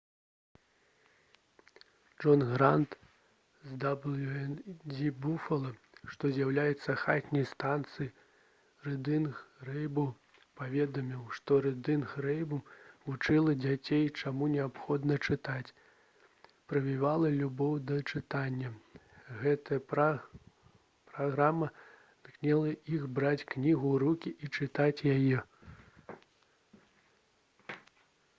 джон грант з «дабл'ю-эн-і-дзі буфала» што з'яўляецца хатняй станцыяй «рыдынг рэйнбоў» паведаміў што «рыдынг рэйнбоў» вучыла дзяцей чаму неабходна чытаць, прывівала любоў да чытання — [гэтая праграма] натхняла іх браць кнігу ў рукі і чытаць яе»